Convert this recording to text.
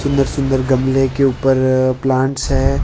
सुंदर सुंदर गमले के ऊपर प्लांट्स है।